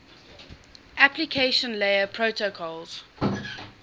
application layer protocols